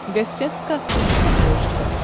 гостях сказки на смотрешке